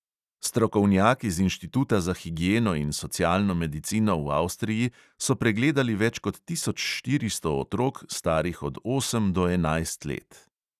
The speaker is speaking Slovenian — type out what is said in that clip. Strokovnjaki z inštituta za higieno in socialno medicino v avstriji so pregledali več kot tisoč štiristo otrok, starih od osem do enajst let.